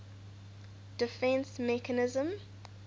defence mechanism